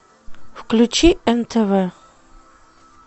включи нтв